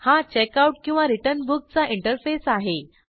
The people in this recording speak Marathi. हा checkoutरिटर्न Bookचा इंटरफेस आहे